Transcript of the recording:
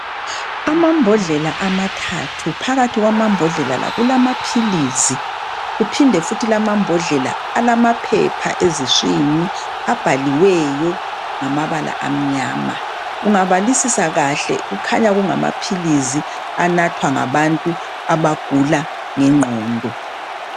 Amambodlela amathathu. Phakathi kwamambodlela la kulama philisi. Kuphinde futhi la amambhodlela alamaphepha eziswini. Abhaliweyo ngama bala amnyama. Ungabalisisa kahle , kukhanya ngamaphilisi anathwa ngabantu abagula nge ngqondo.